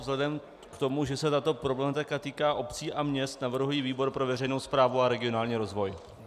Vzhledem k tomu, že se tato problematika týká obcí a měst, navrhuji výbor pro veřejnou správu a regionální rozvoj.